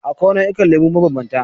Akwai nau'ikan lemu mabambanta.